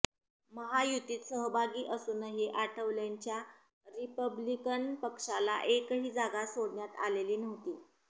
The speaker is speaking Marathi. महायुतीत सहभागी असूनही आठवलेंच्या रिपब्लिकन पक्षाला एकही जागा सोडण्यात आलेली नव्हती